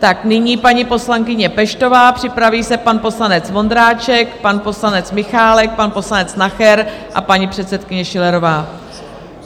Tak nyní paní poslankyně Peštová, připraví se pan poslanec Vondráček, pan poslanec Michálek, pan poslanec Nacher a paní předsedkyně Schillerová.